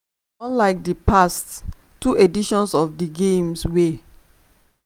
unlike di past two editions of di games